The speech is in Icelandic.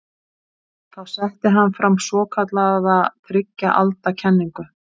Þá setti hann fram svokallaða þriggja alda kenningu.